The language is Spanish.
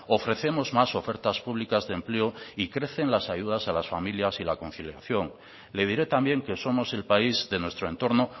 ofrecemos más ofertas públicas de empleo y crecen las ayudas a las familias y conciliación le diré también que somos el país de nuestro entorno